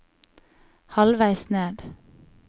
halvveis ned